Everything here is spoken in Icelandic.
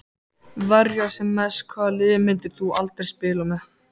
Verja sem mest Hvaða liði myndir þú aldrei spila með?